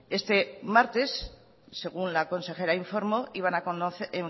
este martes según la consejera informó iban a